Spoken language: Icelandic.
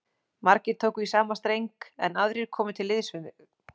Margir tóku í sama streng, en aðrir komu til liðs við